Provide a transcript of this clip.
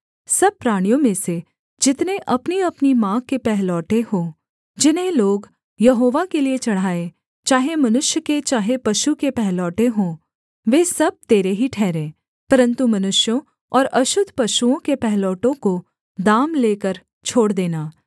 सब प्राणियों में से जितने अपनीअपनी माँ के पहलौठे हों जिन्हें लोग यहोवा के लिये चढ़ाएँ चाहे मनुष्य के चाहे पशु के पहलौठे हों वे सब तेरे ही ठहरें परन्तु मनुष्यों और अशुद्ध पशुओं के पहिलौठों को दाम लेकर छोड़ देना